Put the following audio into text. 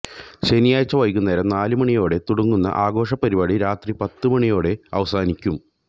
ശനിയാഴ്ച വൈകുന്നേരം നാലു മണിയോടെ തുടങ്ങുന്ന ആഘോഷ പരിപാടി രാത്രി പത്തു മണിയോടെ അവസാനിക്കും